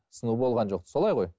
сыну болған жоқ солай ғой